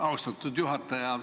Austatud juhataja!